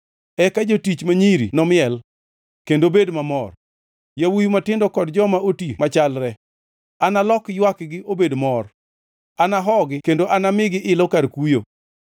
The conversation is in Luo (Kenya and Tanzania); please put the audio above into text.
Eka jotich ma nyiri nomiel kendo bed mamor, yawuowi matindo kod joma oti machalre. Analok ywakgi obed mor; anahogi kendo anamigi ilo kar kuyo.